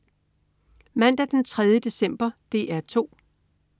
Mandag den 3. december - DR 2: